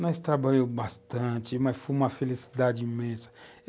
Nós trabalhamos bastante, mas foi uma felicidade imensa.